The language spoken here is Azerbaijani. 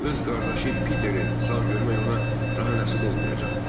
Amma öz qardaşı Piteri sağ görmək ona daha nəsib olmayacaq.